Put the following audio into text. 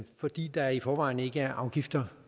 fordi der i forvejen ikke er afgifter